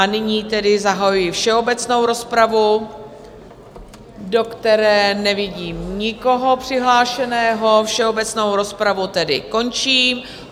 A nyní tedy zahajuji všeobecnou rozpravu, do které nevidím nikoho přihlášeného, všeobecnou rozpravu tedy končím.